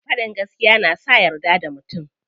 Faɗin gaskiya na sa a yarda da mutum.